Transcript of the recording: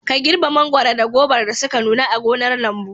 Ka girbe mangwaro da gobar da suka nuna a gonar lambu.